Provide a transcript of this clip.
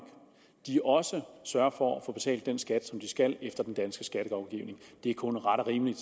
sørger for at få betalt den skat som de skal efter den danske skattelovgivning det er kun ret og rimeligt